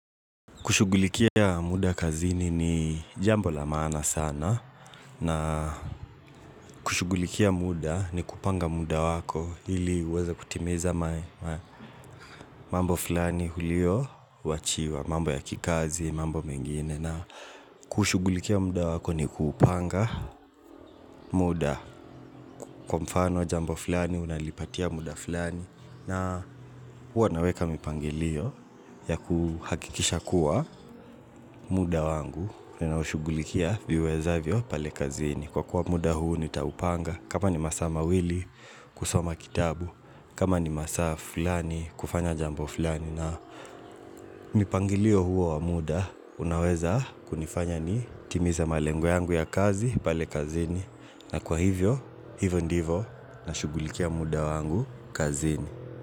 Kushugulikia muda kazini ni jambo la maana sana na kushugulikia muda ni kupanga muda wako ili uweza kutimiza mambo fulani hulio wachiwa mambo ya kikazi mambo mengine na kushugulikia muda wako ni kupanga muda kwa mfano jambo fulani unalipatia muda fulani na wanaweka mipangilio ya kuhakikisha kuwa muda wangu. Ninaushugulikia viwezavyo pale kazini Kwa kuwa muda huu nitaupanga kama ni masaa mawili kusoma kitabu kama ni masaa flani kufanya jambo flani na mipangilio huwa wa muda Unaweza kunifanya ni timize malengo ya kazi pale kazini na kwa hivyo, hivyo ndivo Nashugulikia muda wangu kazini.